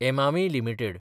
Emami limited